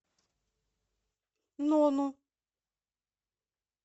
нону